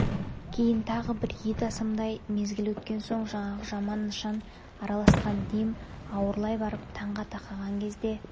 кейін тағы бір ет асымдай мезгіл өткен соң жаңағы жаман нышан араласқан дем ауырлай барып таңға тақаған кезде